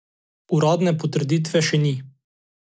Uradne potrditve še ni.